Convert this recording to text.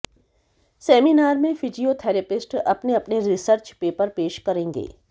seminar में physiotherapist अपने अपने रिसर्च पेपर पेश करेंगे